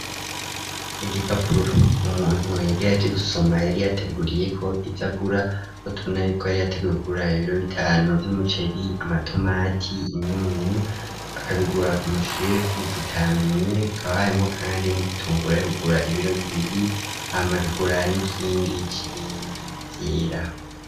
Igipapuro umuntu yari yaje gusoma yari yateguriyeko ivy'agura ho tubunayoko yari yategugura ibiro bitanu by'umuceri amatomati imyunyu akabigura ku mushefu tutamenye kabhayemo kandi n'ibitungura yo kugura ibiro bibiri hamakagura n'ikindi k'ibindi vyera.